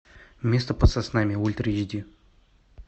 место под соснами ультра эйч ди